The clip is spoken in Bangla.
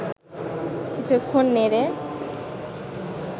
কিছুক্ষণ নেড়ে